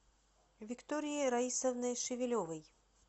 викторией раисовной шевелевой